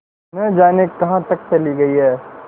न जाने कहाँ तक चली गई हैं